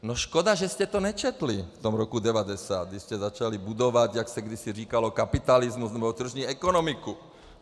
No škoda, že jste to nečetli v tom roce 1990, když jste začali budovat, jak se kdysi říkalo, kapitalismus nebo tržní ekonomiku.